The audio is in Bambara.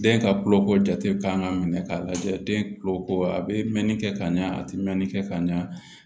Den ka kuloko jate kan ka minɛ k'a lajɛ den kulo ko a bɛ mɛnni kɛ ka ɲɛ a te mɛnni kɛ ka ɲa